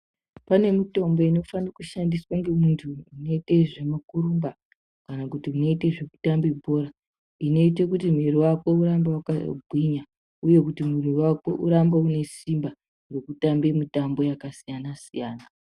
Panemutombo inofanekushandiswa ngemuntu unoite zvekutumba kana kuti unoite zvekutambe bhora inoite kuti mwiri wakwe urambe waka gwinya uye kuti mwiri wakwe uramba unesimba rekutambe mutambo yakasiyana siyana.